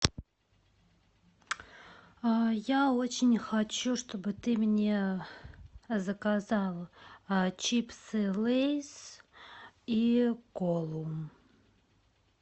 я очень хочу чтобы ты мне заказала чипсы лейс и колу